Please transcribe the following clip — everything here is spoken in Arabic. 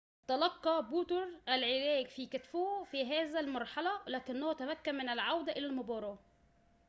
تلقى بوترو العلاج في كتفه في هذه المرحلة لكنه تمكن من العودة إلى المباراة